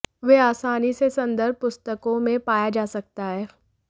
वे आसानी से संदर्भ पुस्तकों में पाया जा सकता है